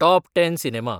top ten cinema